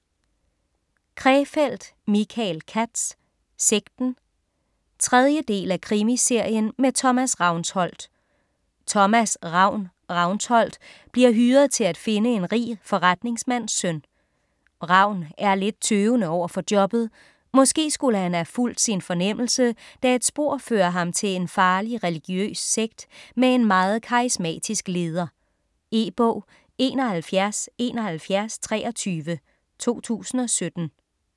Krefeld, Michael Katz: Sekten 3. del af Krimiserien med Thomas Ravnsholdt. Thomas "Ravn" Ravnsholdt bliver hyret til at finde en rig forretningsmands søn. Ravn er lidt tøvende overfor jobbet. Måske skulle han have fulgt sin fornemmelse, da et spor fører ham til en farlig religiøs sekt med en meget karismatisk leder. E-bog 717123 2017.